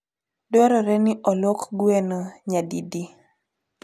Dwarore ni olwok gweno nyadidi?